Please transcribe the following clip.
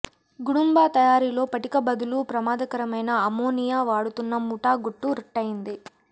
గుడుంబా తయారీలో పటిక బదులు ప్రమాదకరమైన అమ్మోనియా వాడుతున్న ముఠా గుట్టు రట్టయ్యింది